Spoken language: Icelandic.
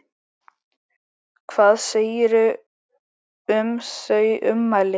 Hvað segirðu um þau ummæli?